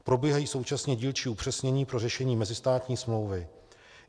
Probíhají současně dílčí upřesnění pro řešení mezistátní smlouvy.